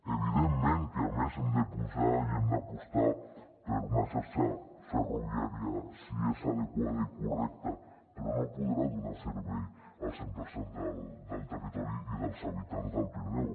evidentment que a més hem de posar i hem d’apostar per una xarxa ferroviària si és adequada i correcta però no podrà donar servei al cent per cent del territori i dels habitants del pirineu